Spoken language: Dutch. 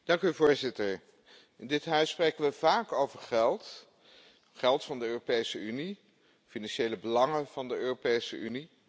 Voorzitter, in dit huis spreken we vaak over geld, geld van de Europese Unie, financiële belangen van de Europese Unie.